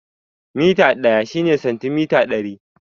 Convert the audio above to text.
Mita ɗaya shine santimita ɗari